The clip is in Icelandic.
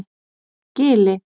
Gili